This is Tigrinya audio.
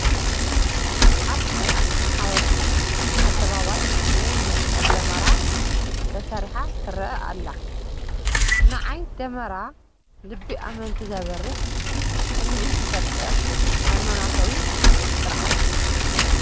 ኣብ ናይ ኣኽሱም ሓወልቲ ኣደባባይ ናይ መስቀል ደመራ ተሰሪሓ ትርአ ኣላ፡፡ ንዓይ ደመራ ልቢ ኣመንቲ ዘብርህ ስምዒት ዝፈጥር ሃይማኖታዊ ስርዓት እዩ፡፡